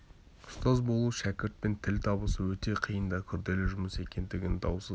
ұстаз болу шәкіртпен тіл табысу өте қиын да күрделі жұмыс екендігі даусыз